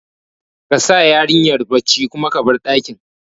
Kasa yarinyar bacci kuma ka bar ɗakin